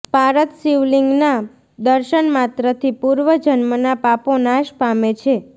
પારદ શિવલિંગના દર્શન માત્રથી પૂર્વ જન્મના પાપો નાશ પામે છે